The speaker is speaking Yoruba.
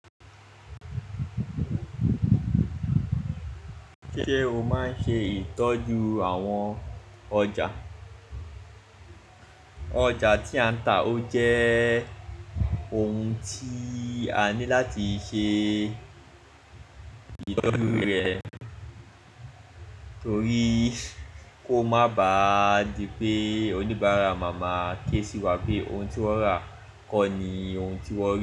Ṣé o máa ń ṣe ìtọ́jú àwọn ọjà? Ọjà tí a ń tà ó jẹ́ ohun tí a ní láti ṣe ìtọ́jú rẹ̀ torí kó má bá di pé oníbárà mà má ké sí wa pé ohun tí wọ́n rà kọ́ ni ohun tí wọ́n.